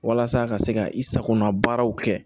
Walasa ka se ka i sagona baaraw kɛ